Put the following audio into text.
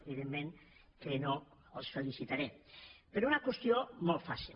evidentment que no els felicitaré per una qüestió molt fàcil